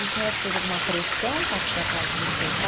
E o senhor acha que teve alguma pressão para, da parte do seu pai?